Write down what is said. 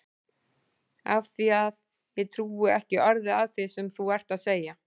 Af því að ég trúi ekki orði af því sem þú ert að segja.